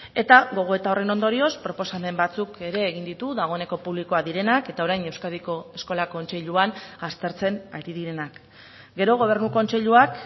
eta gogoeta horren ondorioz proposamen batzuk ere egin ditu dagoeneko publikoak direnak eta orain euskadiko eskola kontseiluan aztertzen ari direnak gero gobernu kontseiluak